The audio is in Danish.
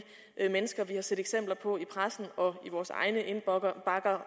mennesker som vi har set eksempler på i pressen og i vores egne indbakker